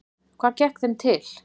Hvað gekk þeim til?